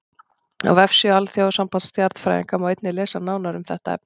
Á vefsíðu Alþjóðasambands stjarnfræðinga má einnig lesa nánar um þetta efni.